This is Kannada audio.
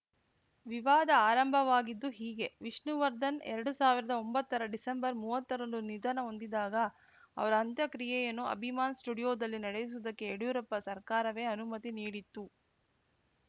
ವಿವಾದ ಆರಂಭವಾಗಿದ್ದು ಹೀಗೆ ವಿಷ್ಣುವರ್ಧನ್‌ ಎರಡು ಸಾವಿರದ ಒಂಬತ್ತರ ಡಿಸೆಂಬರ್‌ ಮೂವತ್ತರಂದು ನಿಧನ ಹೊಂದಿದಾಗ ಅವರ ಅಂತ್ಯಕ್ರಿಯೆಯನ್ನು ಅಭಿಮಾನ್‌ ಸ್ಟುಡಿಯೋದಲ್ಲಿ ನಡೆಸುವುದಕ್ಕೆ ಯಡಿಯೂರಪ್ಪ ಸರ್ಕಾರವೇ ಅನುಮತಿ ನೀಡಿತ್ತು